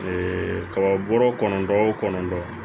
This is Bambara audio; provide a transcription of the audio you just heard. kaba bɔrɔ kɔnɔntɔ o kɔnɔntɔn